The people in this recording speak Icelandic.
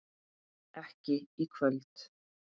ekki í kvöld.